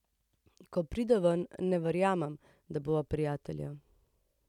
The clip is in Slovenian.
Ko pride ven, ne verjamem, da bova prijatelja.